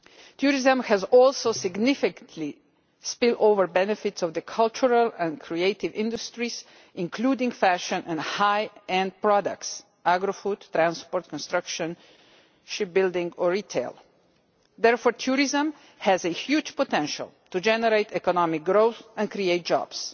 Tourism has also significant spill-over benefits for the cultural and creative industries, including fashion and high end products agrifoods, transport, construction, shipbuilding or retail. Therefore tourism has a huge potential to generate economic growth and create jobs.